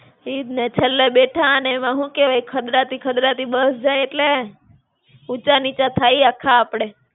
ઈજ ને. છેલ્લે બેઠા અને એમાં હું કેવાય, ખદડાતી-ખદડાતી બસ જાય એટલે ઊંચા નીચા થાઈએ આખા આપડે.